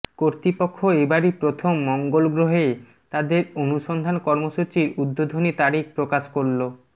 কর্তৃপক্ষ এবারই প্রথম মঙ্গল গ্রহে তাদের অনুসন্ধান কর্মসূচির উদ্বোধনী তারিখ প্রকাশ করলো